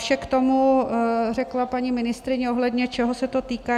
Vše k tomu řekla paní ministryně, ohledně čeho se to týká.